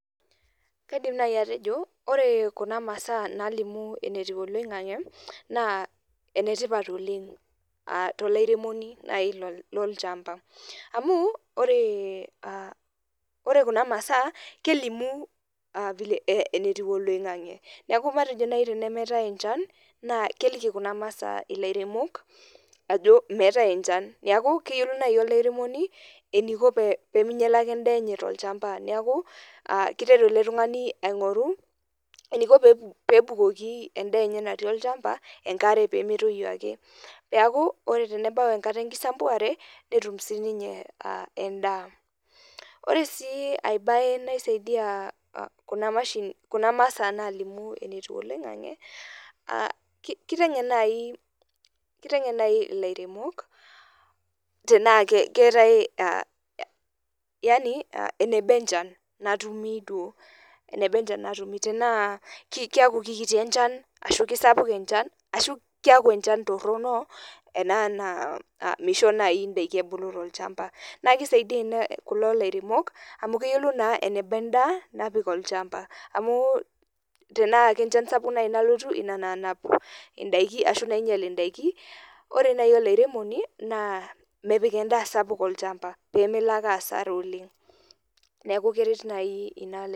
Kaidim nai atejo, ore kuna masaa nalimu enetiu oloing'ang'e, naa enetipat oleng tolairemoni nai lolchamba. Amu, ore kuna masaa, kelimu vile enetiu oloing'ang'e. Neeku matejo nai tenemetai enchan, naa keliki kuna masaa ilairemok, ajo meetae enchan. Neeku, keyiolou nai olairemoni, eniko peminyala ake endaa enye tolchamba. Neeku, kiteru ele tung'ani aing'oru, eniko pebukoki endaa enye natii olchamba, enkare pemetoyu ake. Neeku, ore tenebau enkata enkisambuare, netum sininye endaa. Ore si ai bae naisaidia kuna mashinini, kuna masaa nalimu enetiu oloing'ang'e, kiteng'en nai ilairemok, tenaa keetae yani, eneba enchan natumito, eneba enchan natumi. Tenaa keku kikiti enchan, ashu kisapuk enchan, ashu keku enchan torrono, ena naa misho nai idaiki ebulu tolchambai. Na kisaidia ena kulo lairemok, amu keyiolou naa eneba endaa, napik olchamba. Amu tenaa kenchan sapuk nai nalotu, ina nanap idaiki ashu nainyal idaiki, ore nai olairemoni, naa mepik endaa sapuk olchamba, pemelo ake asara oleng. Neku keret nai ina